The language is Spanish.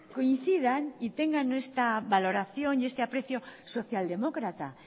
coincidan y tengan esta valoración y este aprecio socialdemócrata